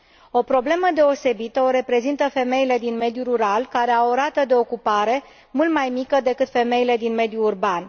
O problemă deosebită o reprezintă femeile din mediul rural, care au o rată de ocupare mult mai mică decât femeile din mediul urban.